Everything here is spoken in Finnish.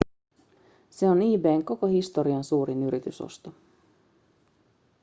se on ebayn koko historian suurin yritysosto